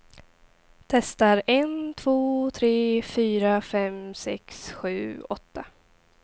Testar en två tre fyra fem sex sju åtta.